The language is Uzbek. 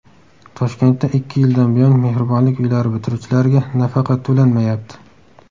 Toshkentda ikki yildan buyon Mehribonlik uylari bitiruvchilariga nafaqa to‘lanmayapti.